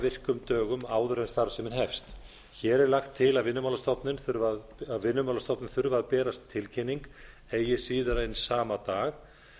virkum dögum áður en starfsemin hefst hér er lagt til að vinnumálastofnun þurfi að berast tilkynning eigi síðar en sama dag